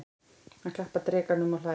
Hann klappar drekanum og hlær.